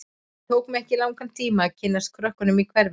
Það tók mig ekki langan tíma að kynnast krökkunum í hverfinu.